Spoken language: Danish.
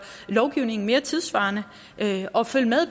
lovgivningen mere tidssvarende altså følge med